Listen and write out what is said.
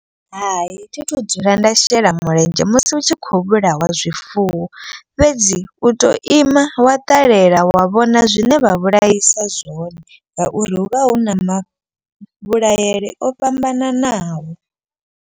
Hai thi thu dzula nda shela mulenzhe musi hu tshi khou vhulaiwa zwifuwo. Fhedzi u to ima wa ṱalela wa vhona zwine vha vhulaisa zwone. Ngauri hu vha hu na mavhulayele o fhambananaho.